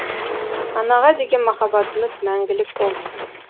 анаға деген махаббатымыз мәңгілік болсын